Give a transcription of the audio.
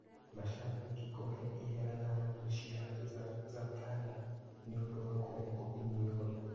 Macambĩki kũhe ihera thanamu cia Zatan nĩũndũ wa kũrengwo iniũrũ